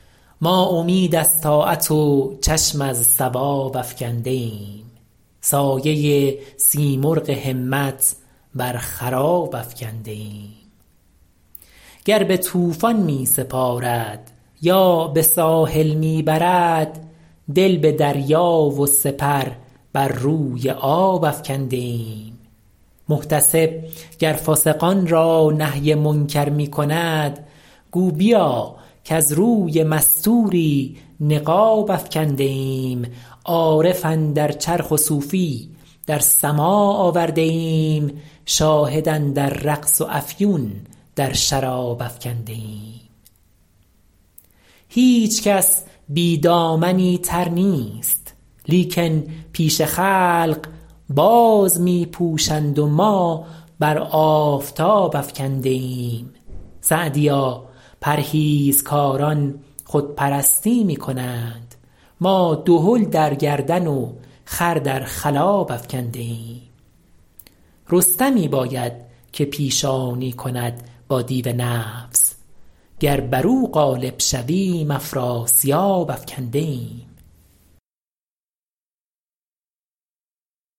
ما امید از طاعت و چشم از ثواب افکنده ایم سایه سیمرغ همت بر خراب افکنده ایم گر به طوفان می سپارد یا به ساحل می برد دل به دریا و سپر بر روی آب افکنده ایم محتسب گر فاسقان را نهی منکر می کند گو بیا کز روی مستوری نقاب افکنده ایم عارف اندر چرخ و صوفی در سماع آورده ایم شاهد اندر رقص و افیون در شراب افکنده ایم هیچکس بی دامنی تر نیست لیکن پیش خلق باز می پوشند و ما بر آفتاب افکنده ایم سعدیا پرهیزکاران خودپرستی می کنند ما دهل در گردن و خر در خلاب افکنده ایم رستمی باید که پیشانی کند با دیو نفس گر بر او غالب شویم افراسیاب افکنده ایم